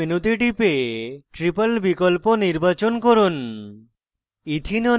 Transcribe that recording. model kit মেনুতে টিপে triple বিকল্প নির্বাচন করুন